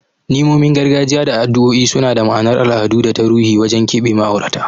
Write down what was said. Ni'imomin gargajiya da addu'o'i suna da ma'anar al'adu da ta ruhi wajen keɓe ma'aurata.